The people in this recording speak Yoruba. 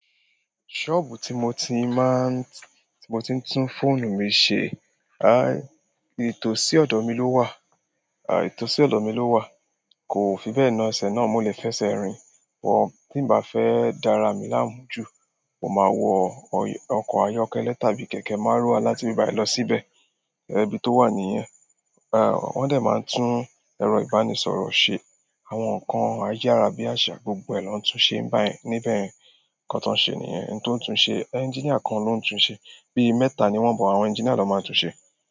Ṣọ́ọ̀bù tí mo ti máa ń, tí mo ti ń tún fóònù mi ṣe, aà, ìtòsí ọ̀dọ̀ mi ló wà, ìtòsí ọ̀dọ̀ mi ló wà. Kò fi bẹ́ẹ̀ na ẹsẹ̀ náà mo lè fẹsẹ̀ rìn but, tí ǹ bá fẹ́ dára à mi láàmú jù, mo máa wọ ọkọ̀ ayọ́kẹ́lẹ́ tàbí kẹ̀kẹ́ márúwá láti ibí bàyíì lọ síbẹ̀, ibi tó wà nìyẹn. Ẹ̀, wọ́n dẹ̀ máa ń tún ẹ̀rọ ìbánisọ̀rọ̀ ṣe. Àwọn nǹkan ayára bí àsá, gbogbo ẹ̀ lọ́ ń tún ṣe ń bẹ̀ yẹn. Níbẹ̀ yẹn nǹkan tán ń ṣe nìyẹn, ẹni tó ń tun ṣe, engineer kan ló ń tun ṣe. Bí i mẹ́ta ni wọ́n but, àwọn engineer lọ́ máa ń tun ṣe.